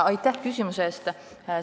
Aitäh küsimuse eest!